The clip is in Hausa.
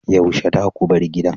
Yaushe zaku bar gidan?